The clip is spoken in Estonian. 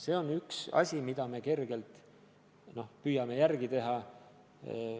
See on üks asi, mida me kergelt püüame järele teha.